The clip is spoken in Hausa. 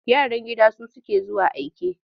Yaran gida su suke zuwa aike.